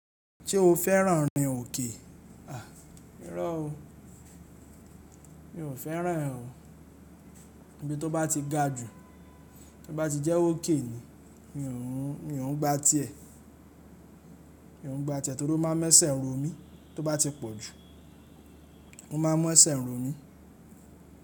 Ṣé o fẹ́ràn rin òkè? À, irọ́ o. Mi ò fẹ́ràn ẹ́ o. Ibí tó bá ti ga jù, tó bá ti jẹ́ ókè ni, mi ò ń, mi ò ń gba tiẹ́. Mi ò ń gba tẹ́ ẹ torí ó máa mọ ẹsẹ̀ ń ro mí tó bá ti pọ̀ jù, ó má a mu ẹsẹ̀ ń ro mí.